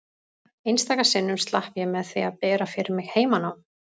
Einstaka sinnum slapp ég með því að bera fyrir mig heimanám.